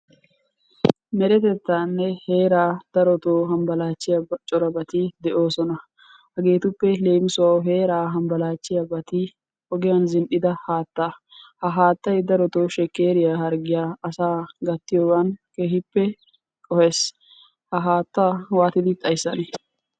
Meretettaanne heeraa darotoo hambalaachchiyaya corabati de'oosona. Hageetuppe leemisuwawu heeraa hambbalaashshiyabati ogiyan zin"Ida haattaa. Ha haattay darotoo shekkeriya harggiyan gattiyogan keehippe qohes. Ha haattaa waatidi xayissanee?